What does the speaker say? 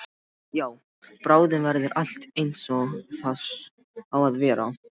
Já, bráðum verður allt einsog það á að vera.